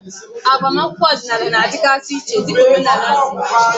Agbamakwụkwọ ọdịnala na-adịgasị iche dịka omenala si dị.